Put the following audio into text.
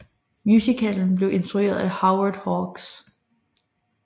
Musicalen blev instrueret af Howard Hawks